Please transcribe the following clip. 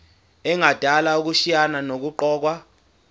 engadala ukushayisana nokuqokwa